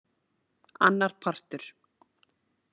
Annar partur.